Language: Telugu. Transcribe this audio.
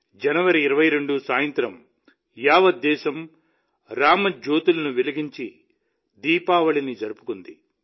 జనవరి 22 సాయంత్రం యావద్దేశం రామజ్యోతులను వెలిగించి దీపావళిని జరుపుకుంది